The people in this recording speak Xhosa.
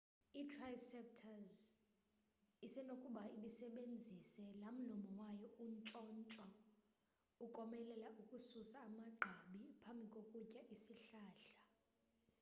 i-triceratops isenokuba ibisebenzise lamlomo wayo untshontsho ukomelela ukususa amagqabi phambi kokutya isihlahla